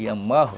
E a malva,